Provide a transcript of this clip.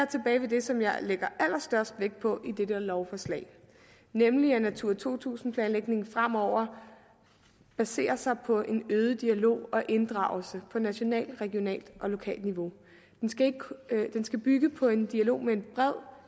tilbage ved det som jeg lægger allerstørst vægt på i det lovforslag nemlig at natura to tusind planlægningen fremover baserer sig på en øget dialog og inddragelse på nationalt regionalt og lokalt niveau den skal bygge på en dialog med en bred